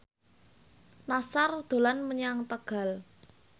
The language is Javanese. Nassar dolan menyang Tegal